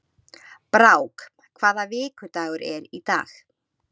Brák, hvaða vikudagur er í dag?